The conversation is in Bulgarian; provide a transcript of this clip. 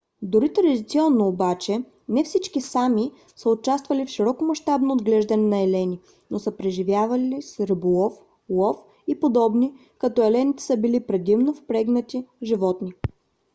дори традиционно обаче не всички sámi са участвали в широкомащабно отглеждане на елени но са преживявали с риболов лов и подобни като елените са били предимно впрегатни животни